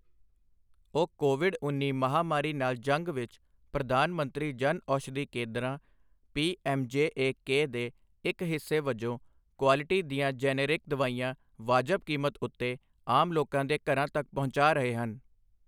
ਉਹ ਕੋਵਿਡ ਉੱਨੀ ਮਹਾਮਾਰੀ ਨਾਲ ਜੰਗ ਵਿੱਚ ਪ੍ਰਧਾਨ ਮੰਤਰੀ ਜਨ ਔਸ਼ਧੀ ਕੇਂਦਰਾਂ ਪੀਐੱਮਜੇਏਕੇ ਦੇ ਇੱਕ ਹਿੱਸੇ ਵਜੋਂ ਕੁਆਲਿਟੀ ਦੀਆਂ ਜੈਨੇਰਿਕ ਦਵਾਈਆਂ ਵਾਜਬ ਕੀਮਤ ਉੱਤੇ ਆਮ ਲੋਕਾਂ ਦੇ ਘਰਾਂ ਤੱਕ ਪਹੁੰਚਾ ਰਹੇ ਹਨ।